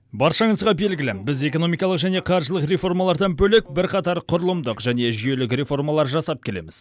баршаңызға белгілі біз экономикалық және қаржылық реформалардан бөлек бірқатар құрылымдық және жүйелік реформалар жасап келеміз